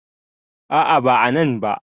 A`a ba a nan ba